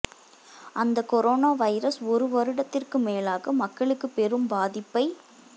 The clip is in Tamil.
அந்த கொரோனா வைரஸ் ஒரு வருடத்திற்கு மேலாக மக்களுக்கு பெரும் பாதிப்பை